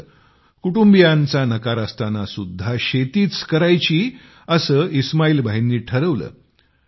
मात्र कुटुंबीयांचा नकार असतानासुद्धा शेतीच करायची असे इस्माईल भाईंनी ठरवले